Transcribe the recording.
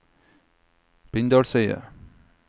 Bindalseidet